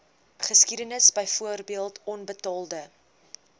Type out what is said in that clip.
geskiedenis byvoorbeeld onbetaalde